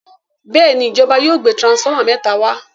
Béèni ìjọba yóò gbé transformer méta wá.